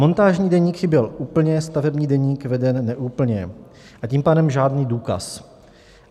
Montážní deník chyběl úplně, stavební deník veden neúplně, a tím pádem žádný důkaz.